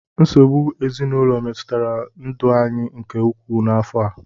Nsogbu ezinụlọ metụtara ndụ anyị nke ukwuu n'afọ a.